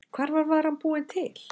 Hvar var varan búin til?